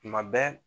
Tuma bɛɛ